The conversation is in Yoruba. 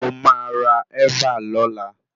Mo máa ra ẹ́và lọla.